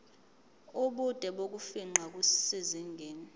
ubude bokufingqa kusezingeni